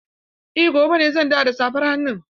Eh, gobe ne zan dawo da safar hannun.